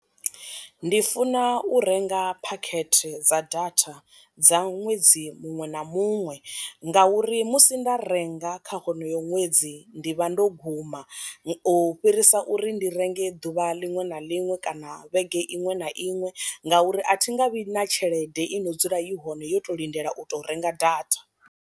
Ndi funa u renga phakhethe dza data dza ṅwedzi muṅwe na muṅwe nga uri musi nda renga kha honoyo ṅwedzi ndi vha ndo guma u fhirisa uri ndi renge ḓuvha ḽiṅwe na ḽiṅwe kana vhege iṅwe na iṅwe ngauri a thi nga vhi na tshelede i no dzula i hone yo to lindela u tou renga data.